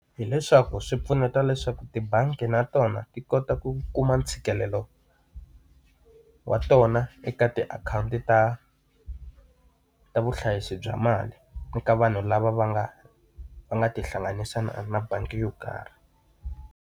Hi leswaku swi pfuneta leswaku tibangi na tona ti kota ku kuma ntshikelelo wa tona eka tiakhawunti ta ta vuhlayisi bya mali, ni ka vanhu lava va nga va nga tihlanganisa na bangi yo karhi.